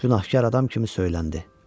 Günahkar adam kimi söyləndi.